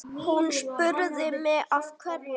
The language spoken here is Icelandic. Hún spurði mig af hverju?